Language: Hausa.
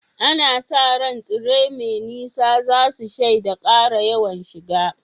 Ana sa ran tsere mai nisa za su shaida ƙara yawan shiga.